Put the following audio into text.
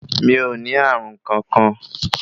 Mi ò ní Ààrùnkankan.